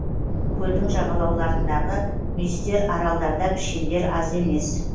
көлдің жағалауларындағы мүйістер аралдарда пішендер аз емес